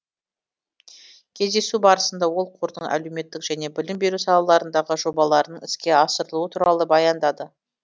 кездесу барысында ол қордың әлеуметтік және білім беру салаларындағы жобаларының іске асырылуы туралы баяндады